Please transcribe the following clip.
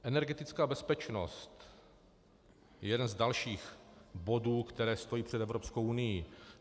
Energetická bezpečnost je jeden z dalších bodů, které stojí před Evropskou unií.